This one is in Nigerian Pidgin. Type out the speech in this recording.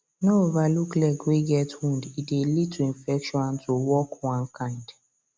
no overlook leg way get wound e dey lead to infection and to walk one kind